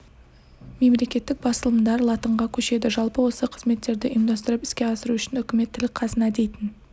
мемлекеттік басылымдар латынға көшеді жалпы осы қызметтерді ұйымдастырып іске асыру үшін үкімет тіл қазына дейтін